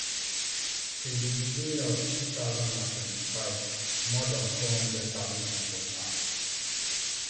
since di beginning of two thousand and twenty-five more dan four hundred thousand pipo na